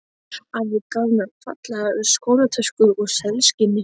Afi gaf mér fallega skólatösku úr selskinni.